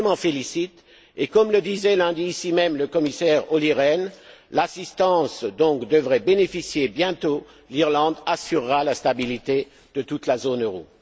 Je m'en félicite et, comme le disait lundi ici même le commissaire Olli Rehn, l'assistance dont devrait bénéficier bientôt l'Irlande assurera la stabilité de toute la zone euro.